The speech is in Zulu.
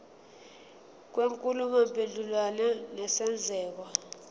kwenkulumo mpendulwano nesenzeko